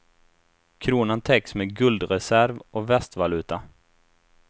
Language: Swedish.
Kronan täcks med guldreserv och västvaluta.